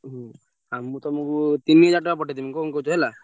ହୁଁ ଆଉ ତମୁକୁ ତିନିହଜାର ଟଙ୍କା ପଠେଇଦେବି କଣ କହୁଛ ହେଲା।